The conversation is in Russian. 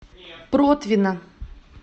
протвино